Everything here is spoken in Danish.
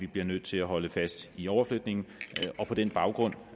bliver nødt til at holde fast i overflytningen på den baggrund